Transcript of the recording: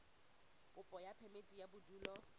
kopo ya phemiti ya bodulo